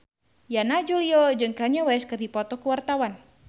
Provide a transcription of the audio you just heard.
Yana Julio jeung Kanye West keur dipoto ku wartawan